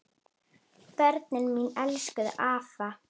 Börnin mín elskuðu afa.